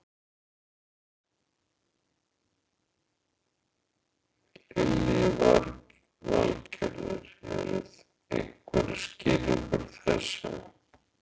Lillý Valgerður: Eru einhverjar skýringar á þessu?